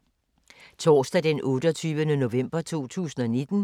Torsdag d. 28. november 2019